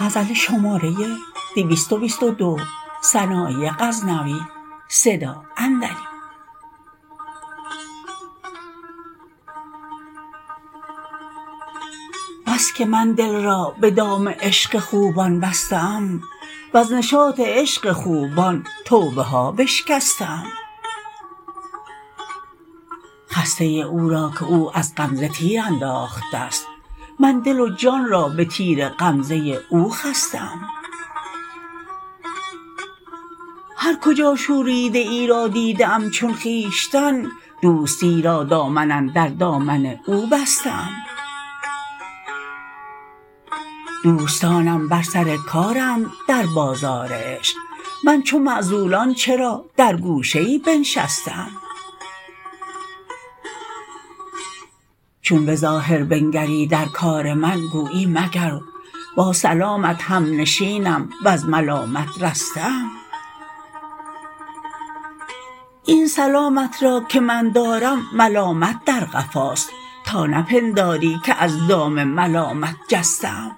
بس که من دل را به دام عشق خوبان بسته ام وز نشاط عشق خوبان توبه ها بشکسته ام خسته او را که او از غمزه تیر انداخته ست من دل و جان را به تیر غمزه او خسته ام هر کجا شوریده ای را دیده ام چون خویشتن دوستی را دامن اندر دامن او بسته ام دوستانم بر سر کارند در بازار عشق من چو معزولان چرا در گوشه ای بنشسته ام چون به ظاهر بنگری در کار من گویی مگر با سلامت هم نشینم وز ملامت رسته ام این سلامت را که من دارم ملامت در قفاست تا نه پنداری که از دام ملامت جسته ام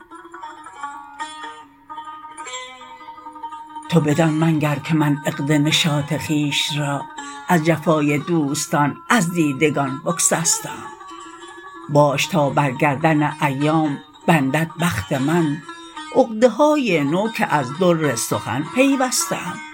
تو بدان منگر که من عقد نشاط خویش را از جفای دوستان از دیدگان بگسسته ام باش تا بر گردن ایام بندد بخت من عقدهای نو که از در سخن پیوسته ام